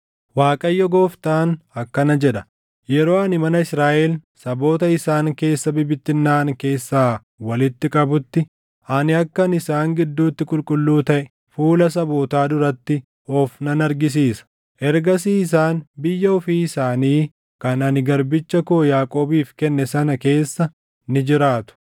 “‘ Waaqayyo Gooftaan akkana jedha: Yeroo ani mana Israaʼel saboota isaan keessa bibittinnaaʼan keessaa walitti qabutti, ani akkan isaan gidduutti qulqulluu taʼe fuula sabootaa duratti of nan argisiisa. Ergasii isaan biyya ofii isaanii kan ani garbicha koo Yaaqoobiif kenne sana keessa ni jiraatu.